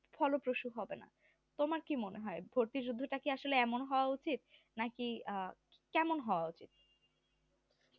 ফলপ্রসু হবে না তোমার কি মনে হয় ভর্তিযুদ্ধটা কি এমন হওয়া উচিত না কি আহ কেমন হওয়া উচিত?